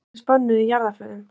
Popptónlist bönnuð í jarðarförum